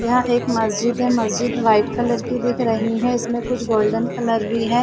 यहाँ एक मस्जिद है मस्जिद वाइट कलर की दिख रही है इसमें कुछ गोल्डन कलर भी हैं।